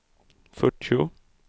fyrtio